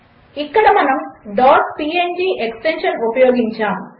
ఇక్కడ మనము png extension ఉపయోగించాము